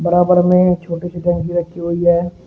बराबर में छोटी सी टंकी रखी हुई है।